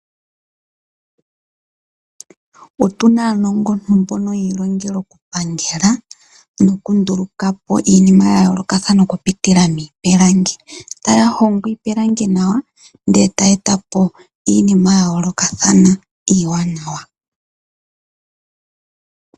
Otuna aanongontu mboka yiilongela oku pangela noku ndulukapo iinima ya yoolokathana, oku pitila miipilangi, ano taya hongo iipilangi nawa, taya etapo iinima ya yoolokathana iiwanawa.